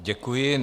Děkuji.